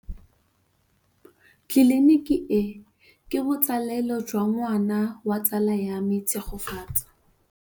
Tleliniki e, ke botsalêlô jwa ngwana wa tsala ya me Tshegofatso.